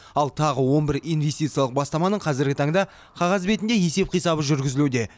ал тағы он бір инвестициялық бастаманың қазіргі таңда қағаз бетінде есеп қисабы жүргізілуде